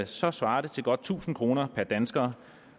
så svarer det til godt tusind kroner per dansker